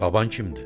Baban kimdir?